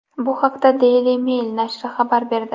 Bu haqda Daily Mail nashri xabar berdi .